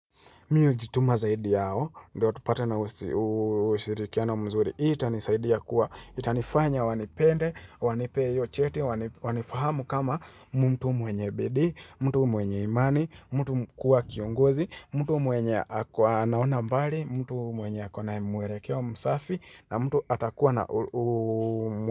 Mimi hujituma zaidi yao, ndiyo tupate na ushirikiano mzuri, hii itanisaidia kuwa, itanifanya wanipende, wanipee hiyo cheti, wanifahamu kama mtu mwenye bidii, mtu mwenye imani, mtu kuwa kiongozi, mtu mwenye ako anaona mbali, mtu mwenye ako na mwelekeo msafi, na mtu atakuwa na.